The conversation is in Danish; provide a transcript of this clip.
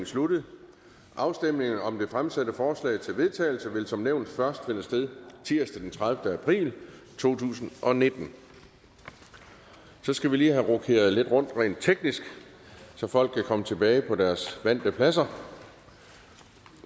sluttet afstemning om det fremsatte forslag til vedtagelse vil som nævnt først finde sted tirsdag den tredivete april to tusind og nitten så skal vi lige have rokeret lidt rundt rent teknisk så folk kan komme tilbage på deres vante pladser